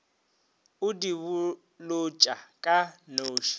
o di bolotša ka nose